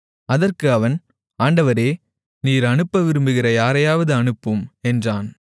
அதற்கு அவன் ஆண்டவரே நீர் அனுப்ப விரும்புகிற யாரையாவது அனுப்பும் என்றான்